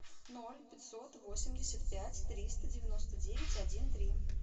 ноль пятьсот восемьдесят пять триста девяносто девять один три